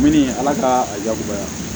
Mini ala ka a jagoya